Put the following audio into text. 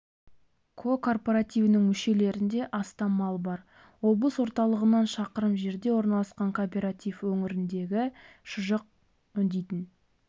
ко кооперативінің мүшелерінде астам мал бар облыс орталығынан шақырым жерде орналасқан кооператив өңірдегі шұжық өңдейтін